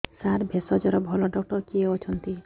ସାର ଭେଷଜର ଭଲ ଡକ୍ଟର କିଏ ଅଛନ୍ତି